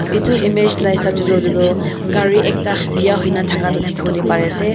edu image la hisab de tu hoile tu gari ekta bia hoi na thaka toh dikhi bole pare ase.